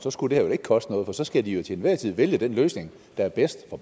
så skulle det her vel ikke koste noget for så skal de jo til enhver tid vælge den løsning der er bedst for